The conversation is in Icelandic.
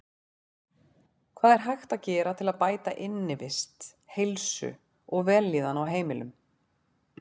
Hvað er hægt að gera til að bæta innivist, heilsu og vellíðan á heimilum?